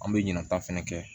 An bɛ ɲina ta fɛnɛ